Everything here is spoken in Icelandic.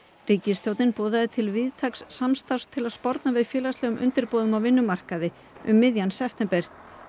ríkisstjórnin boðaði til víðtæks samstarfs til að sporna við félagslegum undirboðum á vinnumarkaði um miðjan september